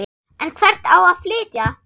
En hvert á að flytja?